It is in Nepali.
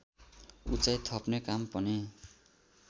उचाई थप्ने काम पनि